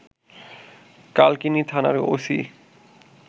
কালকিনি থানার ওসি